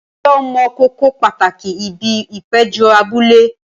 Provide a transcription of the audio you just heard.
Ǹjẹ́ o mọ kókó pàtàkì ibi ìpéjọ abúlé?